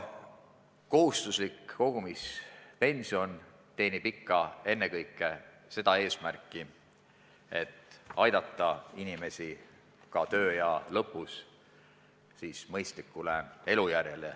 Kohustuslik kogumispension teenib ennekõike ikka seda eesmärki, et aidata inimestel ka tööea lõppedes olla mõistlikul elujärjel.